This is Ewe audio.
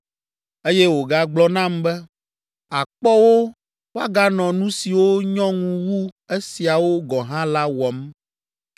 Eye wògagblɔ nam be, “Àkpɔ wo woaganɔ nu siwo nyɔ ŋu wu esiawo gɔ̃ hã la wɔm.”